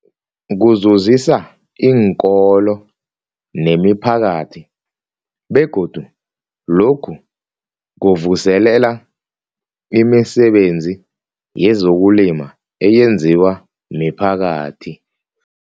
Kuzuzisa iinkolo nemiphakathi begodu lokhu kuvuselela imisebenzi yezokulima eyenziwa miphakathi.